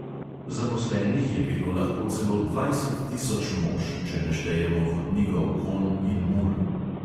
Zaposlenih je bilo lahko celo dvajset tisoč mož, če ne štejemo vodnikov konj in mul.